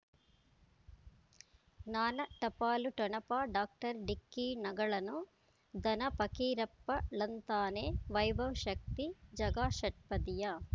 ಜ್ಞಾನ ಟಪಾಲು ಠೊಣಪ ಡಾಕ್ಟರ್ ಢಿಕ್ಕಿ ಣಗಳನು ಧನ ಫಕೀರಪ್ಪ ಳಂತಾನೆ ವೈಭವ್ ಶಕ್ತಿ ಝಗಾ ಷಟ್ಪದಿಯ